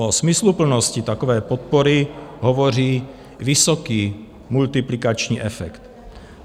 O smysluplnosti takové podpory hovoří vysoký multiplikační efekt.